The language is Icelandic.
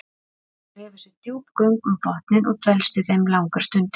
Hann grefur sér djúp göng um botninn og dvelst í þeim langar stundir.